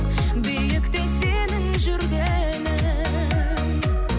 биікте сенің жүргенің